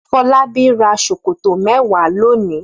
Fọlábí ra ṣòkòtò mẹ́wàá lónìí.